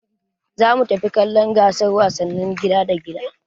Za mu tafi kallon gasar wasannin gida da gida